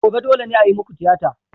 Gobe, dole ne a yi muku tiyata!